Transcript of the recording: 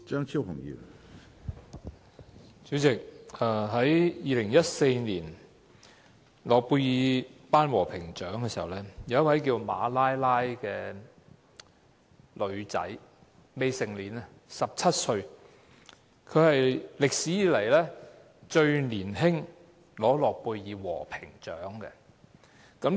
主席，在2014年，一名只有17歲，名叫馬拉拉的女子，成為有史以來最年輕的諾貝爾和平獎得主。